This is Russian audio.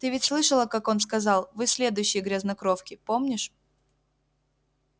ты ведь слышала как он сказал вы следующие грязнокровки помнишь